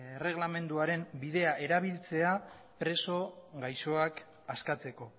erreglamenduaren bidea erabiltzea preso gaixoak askatzeko